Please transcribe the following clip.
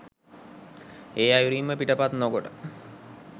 ඒ අයුරින්ම පිටපත් නොකොට